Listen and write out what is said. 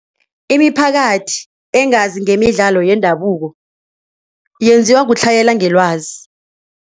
Imiphakathi engazi ngemidlalo yendabuko yenziwa kutlhayela ngelwazi.